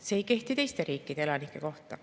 See ei kehti teiste riikide elanike kohta.